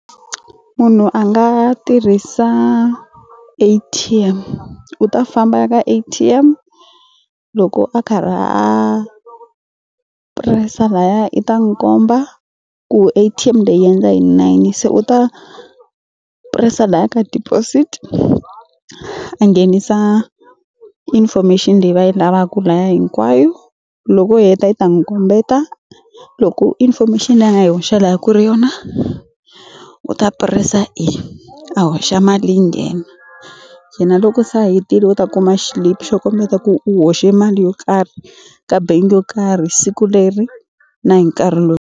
Munhu a nga tirhisa A_T_M u ta famba a ya ka A_T_M loko a karhi a press-a laya i ta n'wu komba ku A_T_M leyi yi endla na yini se u ta press-a laya ka deposit a nghenisa information leyi va yi lavaka laya hinkwayo loko u heta yi ta n'wu kombeta loko information leyi a nga yi hoxa laya ku ri yona u ta press-a a hoxa mali yi nghena yena loko se a hetile u ta kuma xilipi xo kombeta ku u hoxe mali yo karhi ka bengi yo karhi siku leri na hi nkarhi lowu.